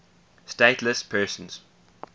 stateless persons